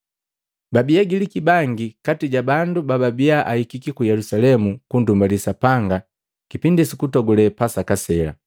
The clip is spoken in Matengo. Babii Agiliki bangi kati ja bandu bababia ahikiki ku Yelusalemu kunndumbali Sapanga kipindi sukutogule Pasaka sela.